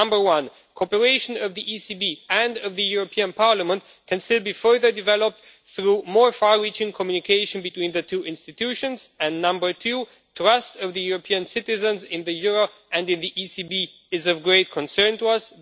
Number one cooperation of the ECB and the European Parliament can still be further developed through more far reaching communication between the two institutions and, number two trust of the European citizens in the euro and in the ECB is of great concern to us.